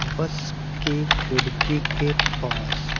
बस के खिड़की के पास--